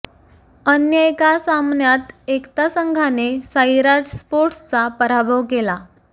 अन्य एका सामन्यात एकता संघाने साईराज स्पोर्टस्चा पराभव केला